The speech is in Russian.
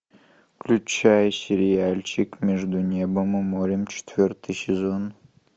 включай сериальчик между небом и морем четвертый сезон